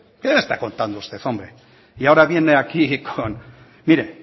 qué me está contando usted hombre mire